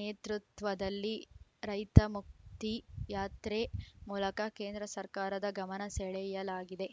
ನೇತೃತ್ವದಲ್ಲಿ ರೈತಮುಕ್ತಿ ಯಾತ್ರೆ ಮೂಲಕ ಕೇಂದ್ರ ಸರ್ಕಾರದ ಗಮನ ಸೆಳೆಯಲಾಗಿದೆ